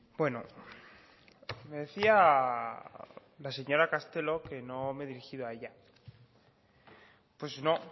bueno me decía la señora castelo que no me he dirigido a ella pues no